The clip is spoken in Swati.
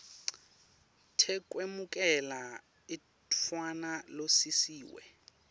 tekwemukela umntfwana losisiwe